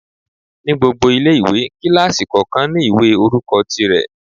Ní gbogbo ilé-ìwé, kílásì kọ̀ọ̀kan ní ìwé orúkọ ti rẹ̀